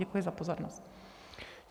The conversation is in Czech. Děkuji za pozornost.